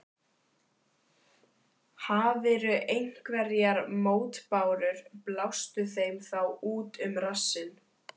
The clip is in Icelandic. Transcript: Hafirðu einhverjar mótbárur, blástu þeim þá út um rassinn.